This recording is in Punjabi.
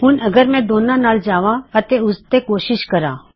ਹੁਣ ਅਗਰ ਮੈਂ ਦੋਨਾ ਨਾਲ ਜਾਵਾਂ ਅਤੇ ਫੇਰ ਕੋਸ਼ਿਸ਼ ਕਰਾਂ